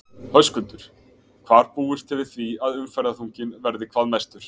Höskuldur: Hvar búist þið við því að umferðarþunginn verði hvað mestur?